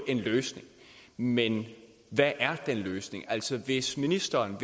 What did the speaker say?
en løsning men hvad er den løsning altså hvis ministeren og